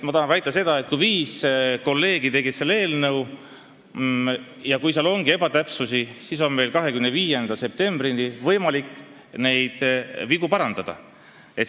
Ma tahan väita, et kui viis inimest tegid selle eelnõu ja kui seal ongi ebatäpsusi, siis on meil 25. septembrini võimalik neid vigu parandada.